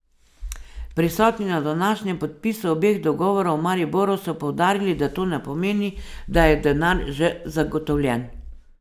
Prisotni na današnjem podpisu obeh dogovorov v Mariboru so poudarili, da to ne pomeni, da je denar že zagotovljen.